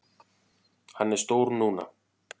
Hann er stór núna.